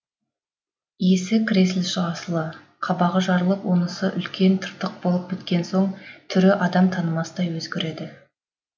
есі кіресілі шығасылы қабағы жарылып онысы үлкен тыртық болып біткен соң түрі адам танымастай өзгереді